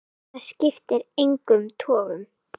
En það skipti engum togum.